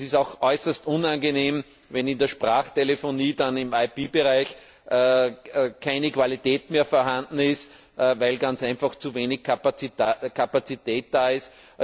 Es ist auch äußerst unangenehm, wenn in der Sprachtelefonie dann im IP Bereich keine Qualität mehr vorhanden ist, weil ganz einfach zu wenig Kapazität da ist.